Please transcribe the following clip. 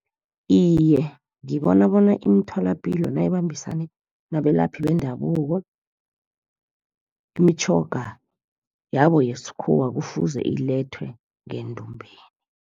Iye, ngibona bona imitholapilo nayibambisane nabalaphi bendabuko, imitjhoga yabo yesikhuwa kufuze ilethwe ngendumbeni.